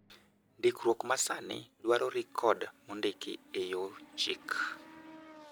Ndikruok ma sani dwaro rekod mondiki e yor chik.